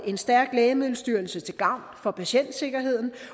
en stærk lægemiddelstyrelse til gavn for patientsikkerheden